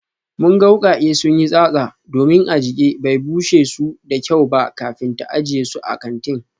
Mun ga wukake sun yi tsatsa domin Ajike bai bushe su da kyau ba kafin ta ajiye su a kantin